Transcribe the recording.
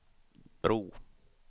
bro